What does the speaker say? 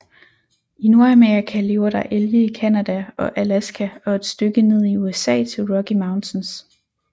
I Nordamerika lever der elge i Canada og Alaska og et stykke ned i USA til Rocky Mountains